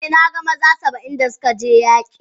Eh, na gan maza Saba'in da suka je yaki.